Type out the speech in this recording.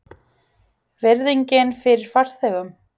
Virðingin fyrir farþegum?